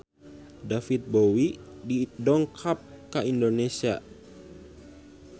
David Bowie dongkap ka Indonesia